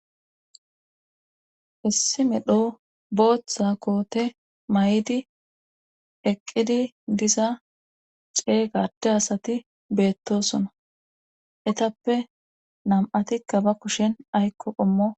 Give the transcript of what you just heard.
Issi medho booththa koote may'idi eqqidi diza ceey gade asati beettosuna etappe nam'ati kaba kushen aykko qommo.